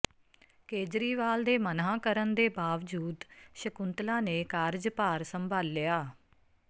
ਕੇਜਰੀਵਾਲ ਦੇ ਮਨ੍ਹਾ ਕਰਨ ਦੇ ਬਾਵਜੂਦ ਸ਼ਕੁੰਤਲਾ ਨੇ ਕਾਰਜਭਾਰ ਸੰਭਾਲਿਆ